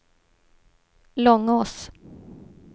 Långås